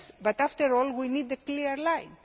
yes, but after all we need a clear